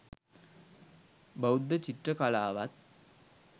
බෞද්ධ චිත්‍ර කලාවත්